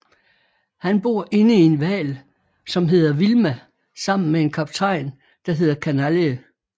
Han bor inde i en hval som hedder Vilma sammen med en kaptajn der hedder Kanalje